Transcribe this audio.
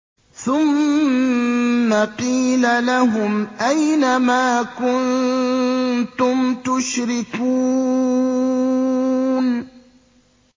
ثُمَّ قِيلَ لَهُمْ أَيْنَ مَا كُنتُمْ تُشْرِكُونَ